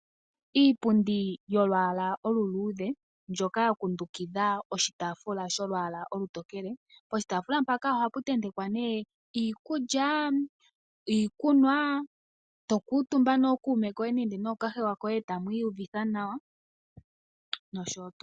Iipundi yolwaala olu luudhe ndjoka ya kundukidha oshitaafula sholwaala olutokele, poshitaafula mpaka oha pu tentakwa nee iikulyaa ,iikunwaa eto kuutumba nookume koye ngenge nookahewa koye etamu iyuvitha nawa noshowo tuu.